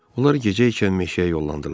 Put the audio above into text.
Onlar gecə ikən meşəyə yollandılar.